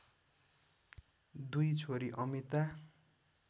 दुई छोरी अमिता